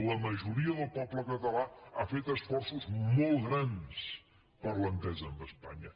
la majoria del poble català ha fet esforços molt grans per l’entesa amb espanya